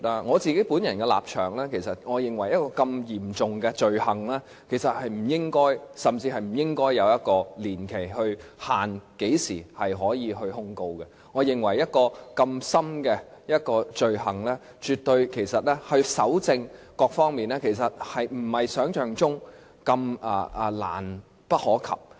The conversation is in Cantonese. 我本人的立場是，我認為這如此嚴重的罪行甚至不應該對何時可以提出控告的年期設立任何限制，我也認為就這罪行來說，搜證並非如想象般困難。